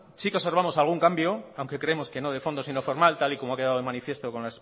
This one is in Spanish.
sí que observamos algún cambio aunque creemos que no de fondo sino formal tal y como ha quedado de manifiesto con